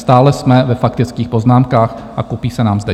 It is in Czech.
Stále jsme ve faktických poznámkách a kupí se nám zde.